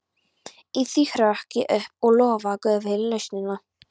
Í því hrökk ég upp og lofaði guð fyrir lausnina.